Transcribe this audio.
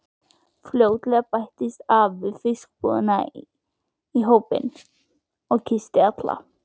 Fljótlega bættist afi í fiskbúðinni í hópinn og kyssti alla.